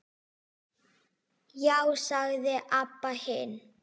Já, sagði Abba hin.